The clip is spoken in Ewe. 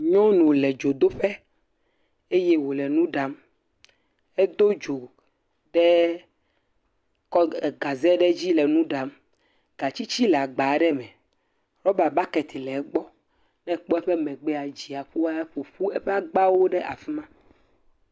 Nyɔnu le dzodoƒe eye wòle nu ɖam, edo dzo ɖe kɔ g..egaze ɖe dzi le nu ɖam, gatsitsi le agba aɖe ma, rɔba baketi aɖe le egbɔ, ne ekpɔ eƒe emegbea edzia aku aƒoƒu eƒe agbawo ɖe afi ma.